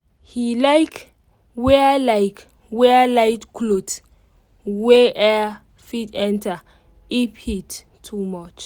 he like wear like wear light cloth wey air fit enter if heat too much